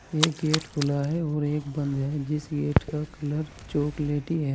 एक गेट खुला है और एक बंद है जिस गेट का कलर चॉकलेटी है।